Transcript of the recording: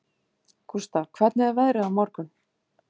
Gústaf, hvernig er veðrið á morgun?